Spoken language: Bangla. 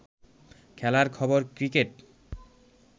খেলার খবর ক্রিকেট